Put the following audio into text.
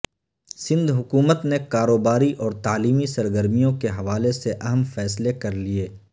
سندھ حکومت نے کاروباری اور تعلیمی سرگرمیوں کے حوالے سے اہم فیصلے کر لیے